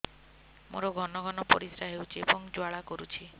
ମୋର ଘନ ଘନ ପରିଶ୍ରା ହେଉଛି ଏବଂ ଜ୍ୱାଳା କରୁଛି